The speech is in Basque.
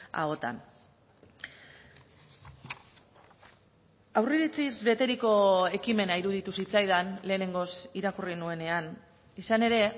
ahotan aurreiritziz beteriko ekimena iruditu zitzaidan lehenengoz irakurri nuenean izan ere